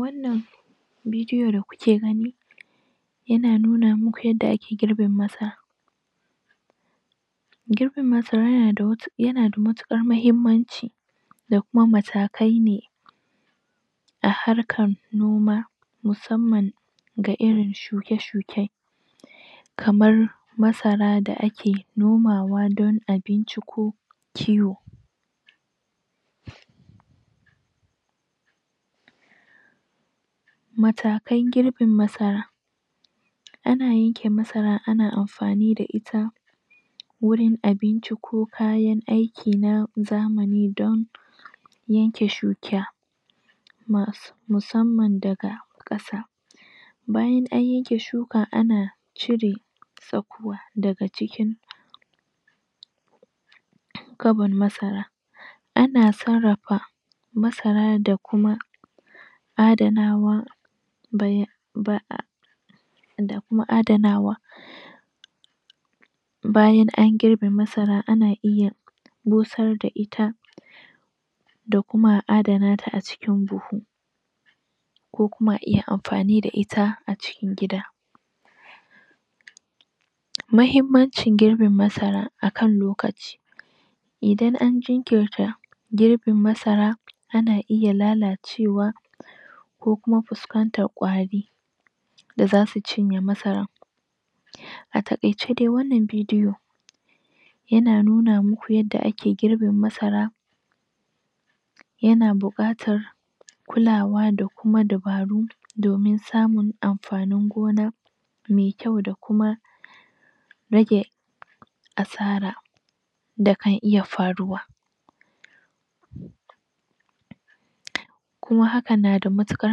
wannan bidiyo da kuke gani yana nuna muku yadda ake girbin masara girbin masara yana da matuƙar muhimmanci da kuma mata kaine a harkan noma musamman ga irin shuke shuke kamar masara da ake nomawa don abinci ko kiwo mataken girbin masara ana yanke masara ana amfani da ita wurin abinci ko kayan aikin na zamani don yanke shuka musamman daga ƙasa bayan an yanke shuka ana cire tsakuwa daga cikin gabar masara ana sarrrafa masara da kuma adanawa bai ba'a da kuma adanawa bayan an girbe masara ana iya busar da ita da kuma adanata acikin buhu ko kuma a iya amfani da ita acikin gida muhimmancin girbin masara akan lokaci idan an jinkirta girbin masara ana iya lalacewa ko kuma fuskantar kwari da zasu cinye masarar a takaice dai wannan bidiyo yana nuna muku yadda ake gibin masara yana bukatar kulawa da kulawa da kuma dabaru domin samun amfanin gonar maikyau da kuma rage asara da kan iya faruwa kuma hakan nada matukar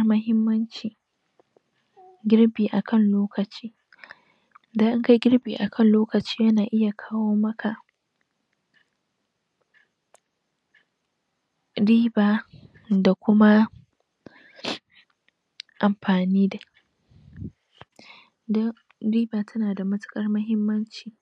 muhimmanci girbi akan lokaci don in kayi girbi akan lokaci yana iya kawo maka riba da kuma amfani don riba tana da matukar muhimmanci